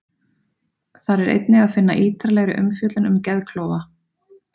Þar er einnig að finna ítarlegri umfjöllun um geðklofa.